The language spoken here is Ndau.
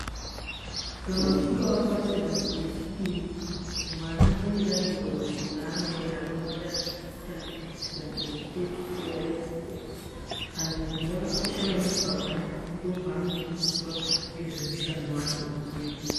Kana uchinge wapase danto rechipiri, mwana pane danto raanoenda, rinova danto rechitatu, kana kuti danto rekupedzisira. Danto iri rakakosha maningi pamwana ngekuti ndokwaanodzidziswa ngezve mushando waanode kuzoita.